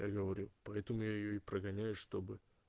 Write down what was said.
я говорю поэтому я её и прогоняю чтобы